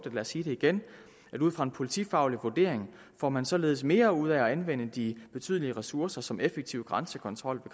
vil sige det igen ud fra en politifaglig vurdering får man således mere ud af at anvende de betydelige ressourcer som effektiv grænsekontrol